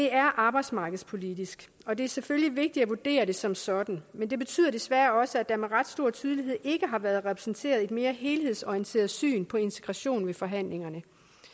er arbejdsmarkedspolitisk og det er selvfølgelig vigtigt at vurdere det som sådan men det betyder desværre også at der med ret stor tydelighed ikke har været repræsenteret et mere helhedsorienteret syn på integration ved forhandlingerne